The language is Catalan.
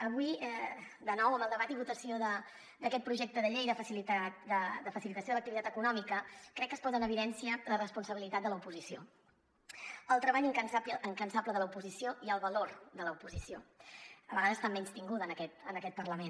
avui de nou amb el debat i votació d’aquest projecte de llei de facilitació de l’activitat econòmica crec que es posa en evidència la responsabilitat de l’oposició el treball incansable de l’oposició i el valor de l’oposició a vegades tan menystinguda en aquest parlament